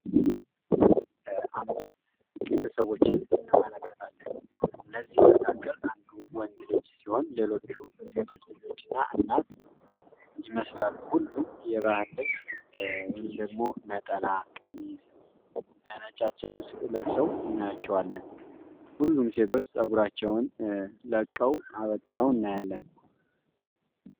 በምስሉ ላይ አምስት ቤተሰቦች አለን እነዚህ መካከል አንዱ ወንድ ልጅ ሲሆን ሌሎቹ ሴቶች ልጆችና እናት ይመስላሉ ሁሉም የባህል ልብስ ደግሞ ነጠላ ቀሚስ ለብሰው ናቸዋለን። ፀጉራቸዉን ላቀው አበጠረው እናያለን።